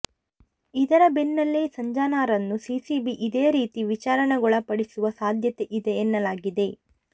ಇದರ ಬೆನ್ನಲ್ಲೇ ಸಂಜನಾರನ್ನೂ ಸಿಸಿಬಿ ಇದೇ ರೀತಿ ವಿಚಾರಣೆಗೊಳಪಡಿಸುವ ಸಾಧ್ಯತೆಯಿದೆ ಎನ್ನಲಾಗಿದೆ